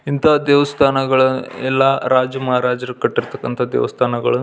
ಇಂಥ ದೇವಸ್ಥಾನಗಳು ಎಲ್ಲ ರಾಜ ಮಹಾರಾಜರು ಕಟ್ಟಿರತಕ್ಕಂಥ ದೇವಸ್ಥಾನಗಳು-